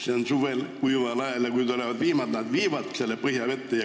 Läga pannakse maha kuival ajal, aga kui tulevad vihmad, siis vihmavesi viibki läga põhjavette.